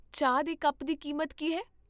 ਚਾਹ ਦੇ ਕੱਪ ਦੀ ਕੀਮਤ ਕੀ ਹੈ?